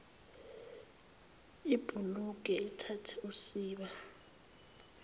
ibhukule ithathe usiba